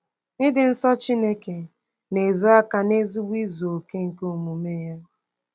Ịdị nsọ Chineke na-ezo aka n’ezigbo izu okè nke omume ya.